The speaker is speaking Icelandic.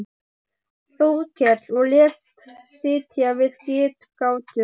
Þórkel og lét sitja við getgátu hans.